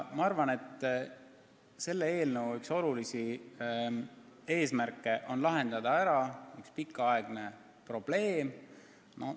Ma arvan, et selle eelnõu üks olulisi eesmärke on lahendada ära üks pikaaegne probleem.